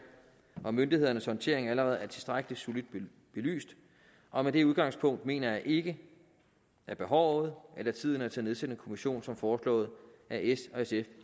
og myndighedernes håndtering allerede er tilstrækkelig solidt belyst og med det udgangspunkt mener jeg ikke at behovet eller tiden er til at nedsætte en kommission som foreslået af s og sf